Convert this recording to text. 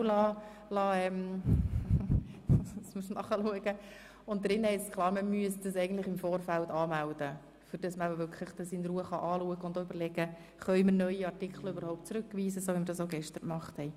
Darin steht klar, dass man dies eigentlich im Vorfeld anmelden müsste, damit man es wirklich in Ruhe anschauen und auch überlegen kann, ob man neue Artikel überhaupt zurückweisen kann, so wie wir das auch gestern gemacht haben.